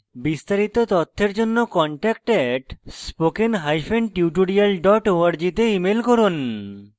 বিস্তারিত তথ্যের জন্য contact @spokentutorial org তে ইমেল করুন